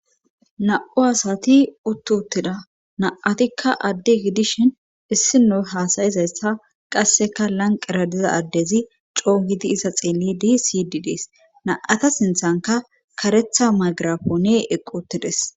Na'u asati uttutida na'atikka adde gidishhin issi noy haasayizayssa qasseka lanqera diza addezi coo gidi iza xeelli di siydi dees na;ata sinthanka karetha magirafoone eqqotides